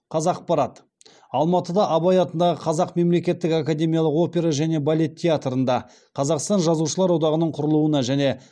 қазақпарат алматыда абай атындағы қазақ мемлекеттік академиялық опера және балет театрында қазақстан жазушылар одағының құрылуына және